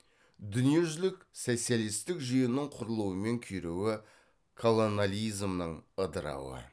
дүниежүзілік социалистік жүйенің кұрылуы мен күйреуі колонализмнің ыдырауы